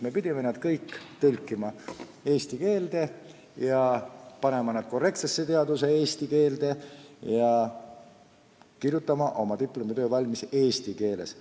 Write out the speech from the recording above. Me pidime need tõlkima korrektsesse eesti teaduskeelde ja kirjutama oma diplomitöö eesti keeles.